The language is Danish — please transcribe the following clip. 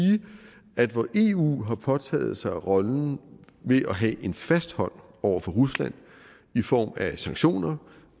at hvor eu har påtaget sig rollen ved at have en fast hånd over for rusland i form af sanktioner